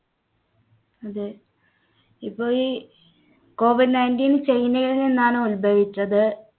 അതെ ഇപ്പോഴീ COVID nineteen ചൈനയിൽ നിന്നാണ് ഉത്ഭവിച്ചത്.